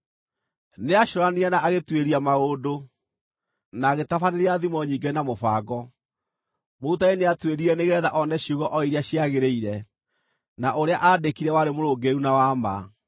Nĩacũũranirie na agĩtuĩria maũndũ, na agĩtabanĩria thimo nyingĩ na mũbango. Mũrutani nĩatuĩririe nĩgeetha one ciugo o iria ciagĩrĩire, na ũrĩa aandĩkire warĩ mũrũngĩrĩru na wa ma.